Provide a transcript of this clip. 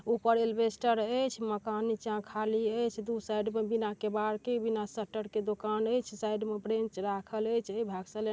उपर अल्बेस्टर है एस माकन निचा खली है इस दो साइड में बिना किवाड़ के बिनाशटर के दुकान है| ए साइड में ब्रेंच राखल है --